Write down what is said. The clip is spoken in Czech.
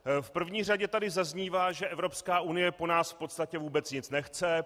V první řadě tady zaznívá, že Evropská unie po nás v podstatě vůbec nic nechce.